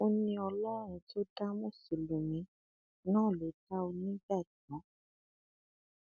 ó ní ọlọrun tó dá mùsùlùmí náà ló dá onígbàgbọ